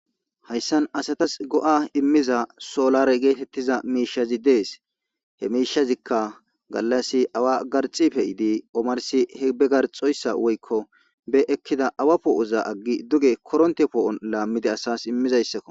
hayssan asatas go'a immiza soolare geetettiza miishazi dees he miishazikka gallas awa garxi fe'iidi omarsi he be garxoyssa woykko be ekkida awa poo'oza aggi duge koronte poo'on laammidi asas immizayssakko